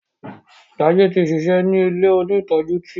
Jaiye tí ṣiṣẹ ní ilẹ òní tọjú tí.